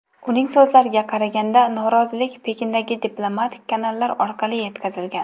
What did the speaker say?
Uning so‘zlariga qaraganda, norozilik Pekindagi diplomatik kanallar orqali yetkazilgan.